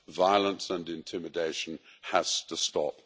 Violence and intimidation has to stop.